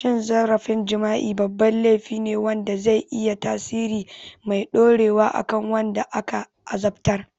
Cin zarafin jima'i babban laifi ne wanda zai iya yin tasiri mai dorewa a kan wanda aka azabtar.